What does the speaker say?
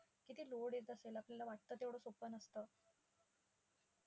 त्याला आपल्याला वाटतं तेवढं सोपं नसतं.